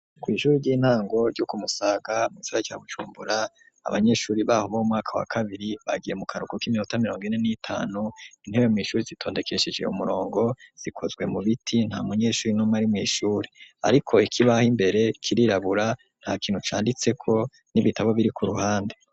Ku ijuru ry'intango ryo kumusaga mu isora cya gucumbura abanyeshuri baho b umwaka wa kabiri bagiye mu karuko k'iminota mirongo ine n'itanu intebe mu ishuri zitondekeshije umurongo zikozwe mu biti nta munyeshuri nom ari mu ishuri ariko iki baho imbere kirirabura nta kintu canditse ko n'ibitabo biri ku ruhande.